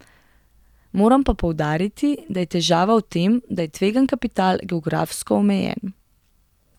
Moram pa poudariti, da je težava v tem, da je tvegan kapital geografsko omejen.